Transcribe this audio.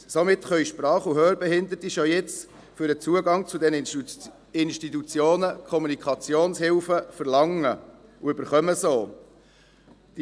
Somit können Sprach- und Hörbehinderte schon jetzt für den Zugang zu diesen Institutionen Kommunikationshilfen verlangen und erhalten sie auch.